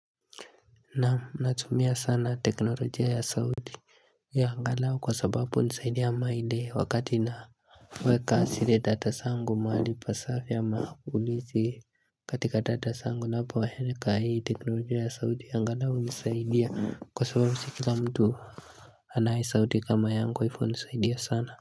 Nam. Natumia sana teknolojia ya sauti. Angalau kwa sababu hunisaidia wakati na weka ziledata zangu mahali pasafi ama kuli si katika dada sangu na powahene kaya teknolojiya ya sauti. Angalau hunisaidia kwa sababu sii kila mtu anaye sauti kama yangu kwa hivyo hunisaidia sana.